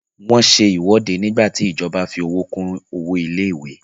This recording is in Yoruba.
Wọ́n se ìwọ́de nígbà tí ìjọba fí owó kún owó ilé ìwé.